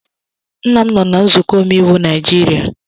Nna m no na nzuko omeiwu Naijiria.